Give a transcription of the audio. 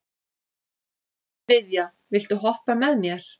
Viðja, viltu hoppa með mér?